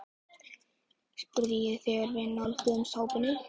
spurði ég þegar við nálguðumst hópinn.